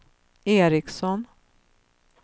Ericson